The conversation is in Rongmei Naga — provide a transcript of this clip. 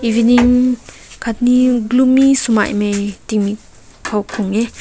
evening katni gloomy sumai meh timik haw kaw heh.